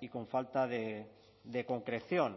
y con falta de concreción